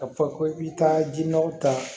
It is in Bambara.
Ka fɔ ko i bi taa ji nɔgɔ ta